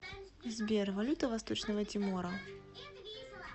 сбер валюта восточного тимора